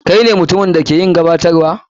Kai na mutumin da ke yin gabatarwa?